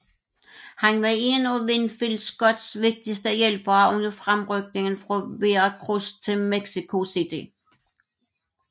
Han var en af Winfield Scotts vigtigste hjælpere under fremrykningen fra Veracruz til Mexico City